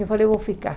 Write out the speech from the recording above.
Eu falei, eu vou ficar.